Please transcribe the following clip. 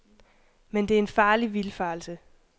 Men det er en farlig vildfarelse.